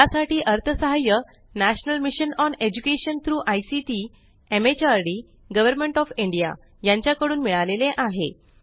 यासाठी अर्थसहाय्य national mission on education through ICT MHRD government of India यांच्या कडून मिळालेले आहे